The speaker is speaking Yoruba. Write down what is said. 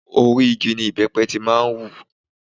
Orí igi ní ìbẹ́pẹ ti máa ń wù.